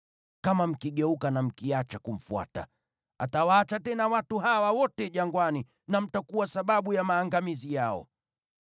Kama mkigeuka na mkiacha kumfuata, atawaacha tena watu hawa wote jangwani, na mtakuwa sababu ya maangamizi yao.”